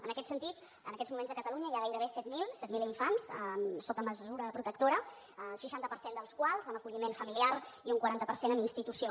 en aquest sentit en aquests moments a catalunya hi ha gairebé set mil set mil infants sota mesura protectora el seixanta per cent dels quals amb acolliment familiar i un quaranta per cent en institució